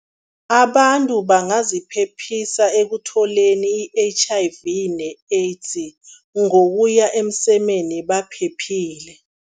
Abantu bangaziphephisa ekutholeni i-H_I_V ne-AIDS ngokuya emsemeni baphephile.